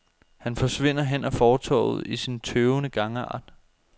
Han forsvinder hen ad fortovet i sin tøvende gangart.